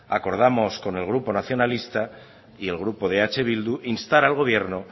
acordamos con el grupo nacionalista y el grupo de eh bildu instar al gobierno